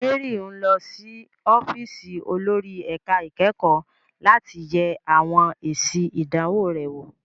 Mary ń lọ sí ọ́fíìsì olórí ẹ̀ka ìkẹ́kọ̀ọ́ láti yẹ àwọn èsì ìdánwò rẹ̀ wò.